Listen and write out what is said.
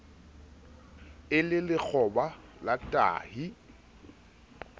e le lekgoba la tahi